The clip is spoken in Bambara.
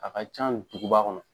A ka can duguba kɔnɔ.